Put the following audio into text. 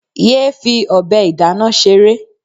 Yéé fi ọbẹ̀ ìdáná ṣeré.